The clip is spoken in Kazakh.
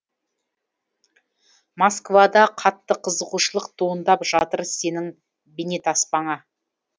москвада қатты қызығушылық туындап жатыр сенің бейнетаспаңа